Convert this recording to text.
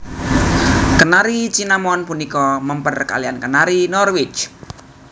Kenari Cinnamon punika mèmper kaliyan Kenari Norwich